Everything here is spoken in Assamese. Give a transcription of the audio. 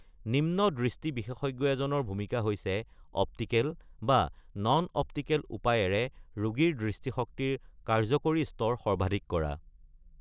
নিম্ন দৃষ্টি বিশেষজ্ঞ এজনৰ ভূমিকা হৈছে অপ্টিকেল বা নন-অপ্টিকেল উপায়েৰে ৰোগীৰ দৃষ্টিশক্তিৰ কাৰ্যকৰী স্তৰ সৰ্বাধিক কৰা।